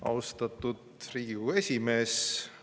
Austatud Riigikogu esimees!